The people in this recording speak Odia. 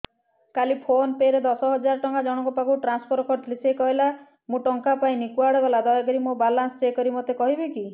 କାଲି ଫୋନ୍ ପେ ରେ ଦଶ ହଜାର ଟଙ୍କା ଜଣକ ପାଖକୁ ଟ୍ରାନ୍ସଫର୍ କରିଥିଲି ସେ କହିଲା ମୁଁ ଟଙ୍କା ପାଇନି କୁଆଡେ ଗଲା ଦୟାକରି ମୋର ବାଲାନ୍ସ ଚେକ୍ କରି ମୋତେ କହିବେ କି